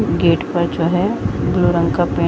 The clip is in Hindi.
गेट पर जो है ब्लू रंग का पेंट --